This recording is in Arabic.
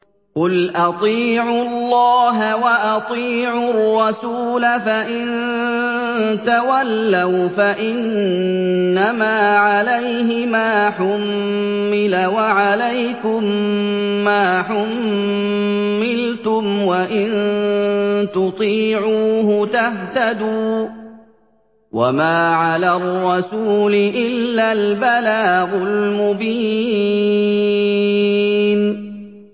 قُلْ أَطِيعُوا اللَّهَ وَأَطِيعُوا الرَّسُولَ ۖ فَإِن تَوَلَّوْا فَإِنَّمَا عَلَيْهِ مَا حُمِّلَ وَعَلَيْكُم مَّا حُمِّلْتُمْ ۖ وَإِن تُطِيعُوهُ تَهْتَدُوا ۚ وَمَا عَلَى الرَّسُولِ إِلَّا الْبَلَاغُ الْمُبِينُ